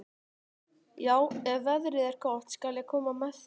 Já, ef veðrið er gott skal ég koma með þér.